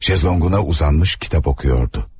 Şezlonguna uzanmış kitap okuyordu.